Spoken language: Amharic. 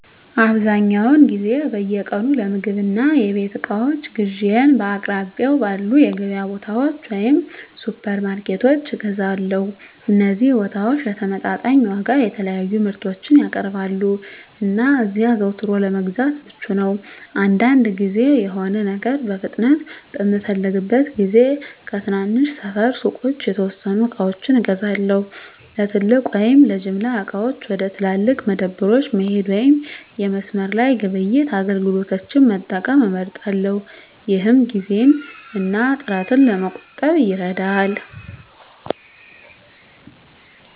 አብዛኛውን ጊዜ በየቀኑ ለምግብ እና የቤት እቃዎች ግዢዬን በአቅራቢያው ባሉ የገበያ ቦታዎች ወይም ሱፐርማርኬቶች እገዛለሁ። እነዚህ ቦታዎች በተመጣጣኝ ዋጋ የተለያዩ ምርቶችን ያቀርባሉ, እና እዚያ አዘውትሮ ለመግዛት ምቹ ነው. አንዳንድ ጊዜ፣ የሆነ ነገር በፍጥነት በምፈልግበት ጊዜ ከትናንሽ ሰፈር ሱቆች የተወሰኑ ዕቃዎችን እገዛለሁ። ለትልቅ ወይም ለጅምላ ዕቃዎች፣ ወደ ትላልቅ መደብሮች መሄድ ወይም የመስመር ላይ ግብይት አገልግሎቶችን መጠቀም እመርጣለሁ፣ ይህም ጊዜን እና ጥረትን ለመቆጠብ ይረዳል።